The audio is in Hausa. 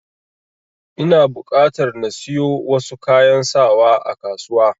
Ina buƙatar na siyo wasu kayan sawa a kasuwa.